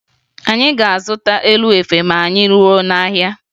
Anyị ga-azụta elu efe ma anyị ruo n'ahịa